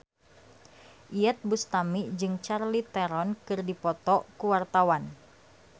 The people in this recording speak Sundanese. Iyeth Bustami jeung Charlize Theron keur dipoto ku wartawan